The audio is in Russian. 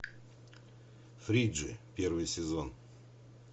фриджи первый сезон